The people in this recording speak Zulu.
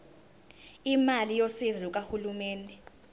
imali yosizo lukahulumeni